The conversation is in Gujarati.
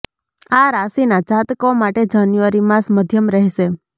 આ રાશિના જાતકો માટે જાન્યુઆરી માસ મધ્યમ રહેશે